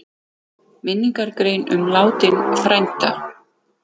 Minningargrein um látinn frænda?